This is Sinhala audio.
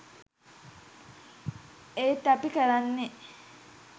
ඒත් අපි කරන්නේ